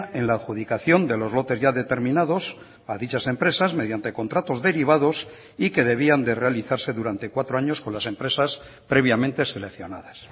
en la adjudicación de los lotes ya determinados a dichas empresas mediante contratos derivados y que debían de realizarse durante cuatro años con las empresas previamente seleccionadas